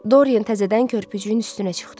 Doryen təzədən körpücüyün üstünə çıxdı.